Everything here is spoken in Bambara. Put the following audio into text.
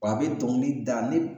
Wa a be dɔngili da ne